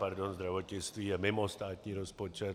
Pardon, zdravotnictví je mimo státní rozpočet.